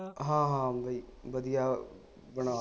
ਹਾਂ ਹਾਂ ਬਈ ਵਧੀਆ ਬਣਾ